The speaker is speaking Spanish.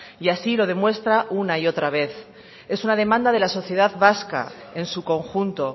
y así lo demuestra una y otra vez es una demanda de la sociedad vasca en su conjunto